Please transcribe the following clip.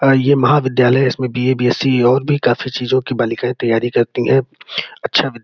ये महाविद्यालय इसमें बीए बीएससी. और भी काफी चीजों की बालिकाएं तैयारी करती हैं अच्छा --